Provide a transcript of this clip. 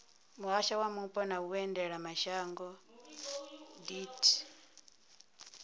muhasho wa mupo na vhuendelamashango deat